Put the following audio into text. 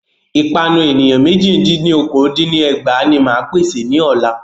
Ìpanu ènìyàn mẹ́jì dín ní okòó dín ní ẹgbàá ní máa pèsè ní ọ̀la.